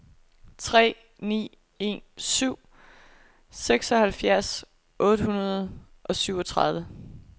tre ni en syv seksoghalvfjerds otte hundrede og syvogtredive